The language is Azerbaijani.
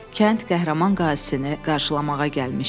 Kənd qəhrəman qazisini qarşılamağa gəlmişdi.